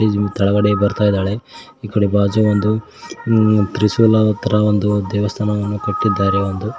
ಕೆಳಗಡೆ ಬರ್ತಾ ಇದ್ದಾಳೆ ಈ ಕಡೆ ಬಾಜು ಒಂದು ತ್ರಿಶೂಲದ ತರ ಒಂದು ದೇವಸ್ಥಾನವನ್ನು ಕಟ್ಟಿದ್ದಾರೆ ಒಂದು--